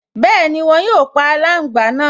Bẹ́ẹ̀ni, wọn yóò pa aláǹgbá náà